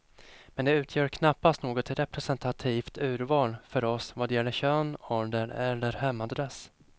Men de utgör knappast något representativt urval för oss vad gäller kön, ålder eller hemadress.